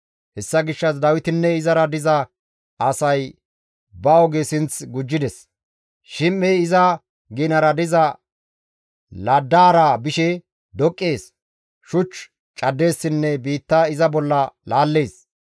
Hessa gishshas Dawitinne izara diza asay ba oge sinth gujjides; Shim7ey iza ginara diza laddaara bishe doqqees, shuch caddeessinne biitta iza bolla laallees.